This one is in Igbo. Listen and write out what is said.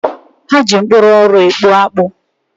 Ha ji mkpụrụ ọrụ ekpu akpu.